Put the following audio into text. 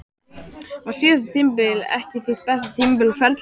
Var síðasta tímabil ekki þitt besta tímabil á ferlinum?